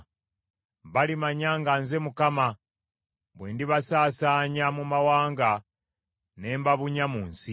“Balimanya nga nze Mukama bwe ndibasaasaanya mu mawanga, ne mbabunya mu nsi.